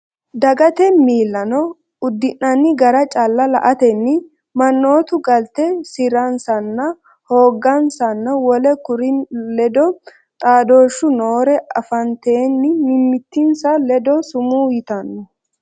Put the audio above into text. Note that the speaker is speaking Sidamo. Dagate miillano uddi’nanni gara calla la”atenni mannootu galte si’ransanna hoogansanna wole kurinni ledo xaadooshshu noore afatenni mimmitinsa ledo sumuu yitanno.